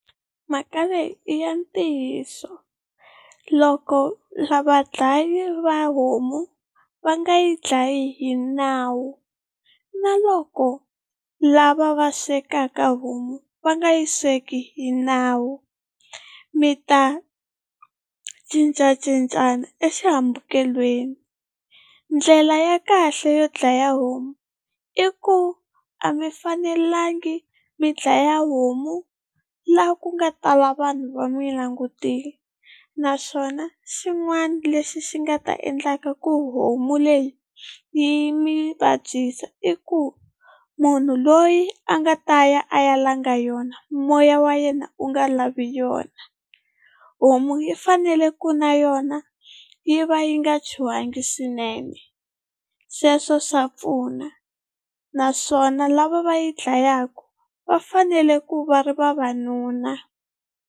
Mhaka leyi i ya ntiyiso loko vadlayi va homu va nga yi dlayi hi nawu na loko lava va swekaka homu va nga yi sweki hi nawu mi ta cincacincana exihambukelweni. Ndlela ya kahle yo dlaya homu i ku a mi fanelangi mi dlaya homu la ku nga tala vanhu va mi langutile, naswona xin'wana lexi xi nga ta endlaka ku homu leyi yi mi vabyisa i ku munhu loyi a nga ta ya a ya langa yona moya wa yena u nga lavi yona. Homu yi fanele ku na yona yi va yi nga chuhangi swinene sweswo swa pfuna naswona lava va yi dlayaka va fanele ku va ri vavanuna.